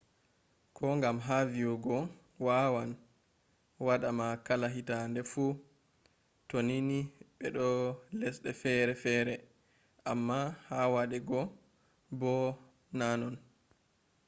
kogam ha vii’ego wawan wadama kala hitaade fuutoninii be doo lesde fere fere, ammaa ha wade go boo na non